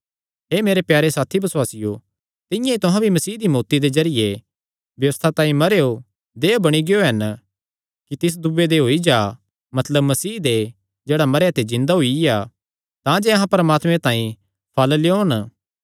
हे मेरे प्यारे साथी बसुआसियो तिंआं ई तुहां भी मसीह दी मौत्ती दे जरिये व्यबस्था तांई मरेयो देहय् बणी गियो हन कि तिस दूये दे होई जा मतलब मसीह दे जेह्ड़ा मरेयां ते जिन्दा होईया तांजे अहां परमात्मे तांई फल़ लेयोन